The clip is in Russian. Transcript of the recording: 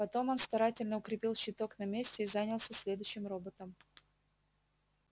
потом он старательно укрепил щиток на месте и занялся следующим роботом